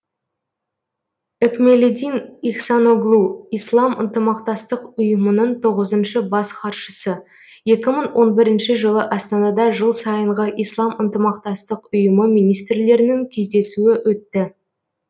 экмелледин ихсаноглу ислам ынтымақтастық ұйымының тоғызыншы бас хатшысы екі мың он бірінші жылы астанада жыл сайынғы ислам ынтымақтастық ұйымы министрлерінің кездесуі өтті